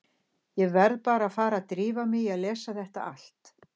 Ég verð bara að fara að drífa mig í að lesa þetta allt.